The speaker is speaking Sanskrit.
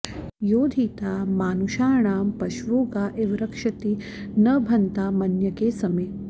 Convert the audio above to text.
यो धी॒ता मानु॑षाणां प॒श्वो गा इ॑व॒ रक्ष॑ति॒ नभ॑न्तामन्य॒के स॑मे